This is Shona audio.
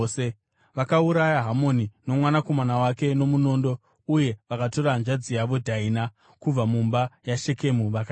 Vakauraya Hamori nomwanakomana wake nomunondo uye vakatora hanzvadzi yavo Dhaina kubva mumba maShekemu vakaenda.